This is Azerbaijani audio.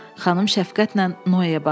Xanım şəfqətlə Noyeyə baxdı.